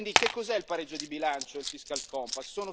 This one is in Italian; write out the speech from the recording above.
Quindi che cosa sono il pareggio di bilancio e il fiscal compact